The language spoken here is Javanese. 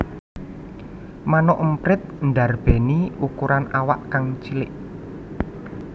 Manuk emprit ndarbèni ukuran awak kang cilik